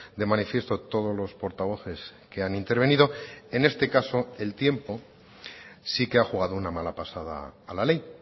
de manifiesto todos los portavoces que han intervenido en este caso el tiempo sí que ha jugado una mala pasada a la ley